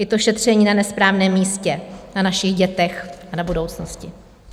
Je to šetření na nesprávném místě - na našich dětech a na budoucnosti.